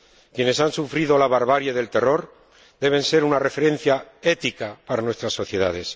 Quienes han sufrido la barbarie del terror deben ser una referencia ética para nuestras sociedades.